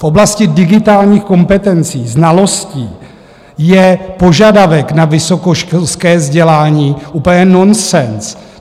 V oblasti digitálních kompetencí, znalostí je požadavek na vysokoškolské vzdělání úplně nonsens.